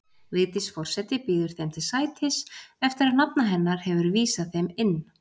Vigdís forseti býður þeim til sætis, eftir að nafna hennar hefur vísað þeim inn.